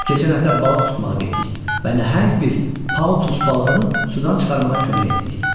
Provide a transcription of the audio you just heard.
Keçən həftə balıq tutmağa getdik və nəhəng bir paltus balığını sudan çıxarmağa kömək etdik.